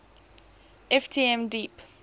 ft m deep